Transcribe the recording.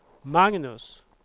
Magnus